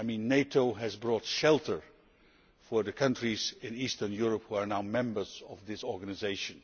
NATO has brought shelter to the countries in Eastern Europe which are now members of the organisation.